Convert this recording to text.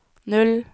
null